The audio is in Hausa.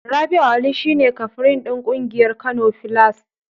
Rabi'u Ali shi ne kafrin ɗin ƙungiyar Kano filas.